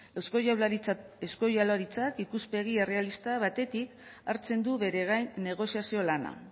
eusko jaurlaritzak ikuspegi errealista batetik hartzen du bere gain negoziazio lana